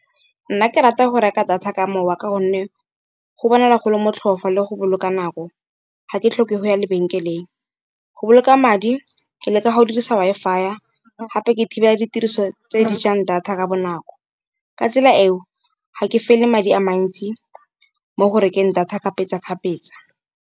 Nna ke rata ya go reka data ka mowa ka gonne go bonala golo motlhofo le go boloka nako, ga ke tlhoke go ya lebenkeleng. Go boloka madi ke le ka go dirisa Wi-Fi gape ke thibela ditiriso tse di jang data ka bonako, ka tsela eo ga ke fele madi a mantsi mo go rekeng data kgapetsa-kgapetsa.